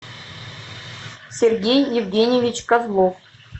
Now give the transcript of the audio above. сергей евгеньевич козлов